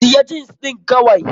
Siya jins ɗin kawai!